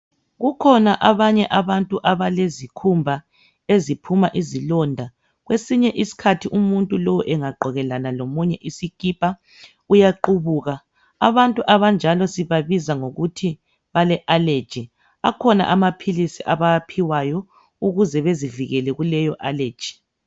Kukhona abanye abantu abalezikhumba eziphuma izilonda. Kwesinye isikhathi umuntu lo engagqokelana lomunye isikipa uyaqubuka. Abanjalo sibabiza ngokuthi balealeji. Akhona amaphilisi abawaphiwayo ukuze bezivikele kuleyo aleji.